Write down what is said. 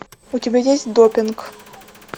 у тебя есть допинг